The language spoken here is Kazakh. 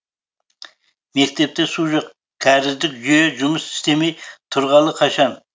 мектепте су жоқ кәріздік жүйе жұмыс істемей тұрғалы қашан